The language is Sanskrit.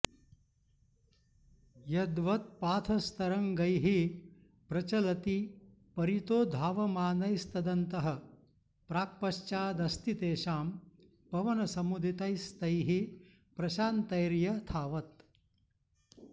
यद्वत्पाथस्तरङ्गैः प्रचलति परितो धावमानैस्तदन्तः प्राक्पश्चादस्ति तेषां पवनसमुदितैस्तैः प्रशान्तैर्यथावत्